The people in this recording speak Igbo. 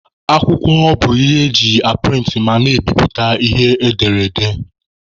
Akwụkwọ bụ ihe e ji aprịntị ma na-ebiputa ihe edere ede.